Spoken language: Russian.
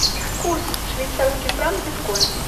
курс швейцарский франк биткоин